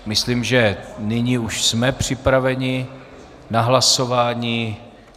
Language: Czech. Myslím, že nyní už jsme připraveni na hlasování.